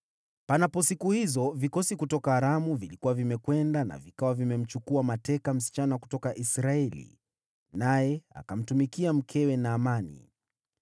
Siku hizo vikosi kutoka Aramu vilikuwa vimekwenda na vikawa vimemteka msichana kutoka Israeli, naye akamtumikia mkewe Naamani.